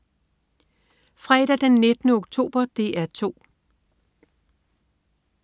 Fredag den 19. oktober - DR 2: